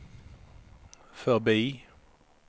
förbi